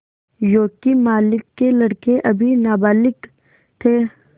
योंकि मालिक के लड़के अभी नाबालिग थे